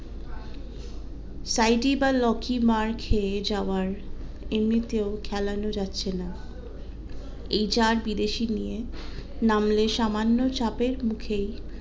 মার্ খেয়ে যাওয়ার এমনিতেও খেলানো যাচ্ছে না এই চার বিদেশি নিয়ে নামলে সামান্য চাপের মুখেই